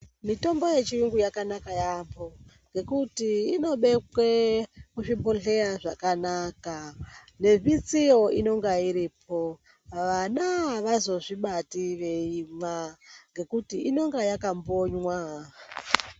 Mitombo yechirungu yakanaka yaampho, ngekuti inobekwe muzvibohleya zvakanaka, nemitsiyo inenge iripo. Vana avazozvibati veimwa ngekuti inenge yakambonywa.